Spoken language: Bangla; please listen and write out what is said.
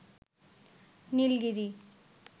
নীলগিরি